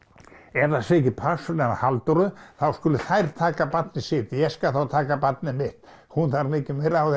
ef það sé ekki pláss fyrir hana Halldóru þá skuli þær taka barnið sitt ég skal þá taka barnið mitt hún þarf mikið meira á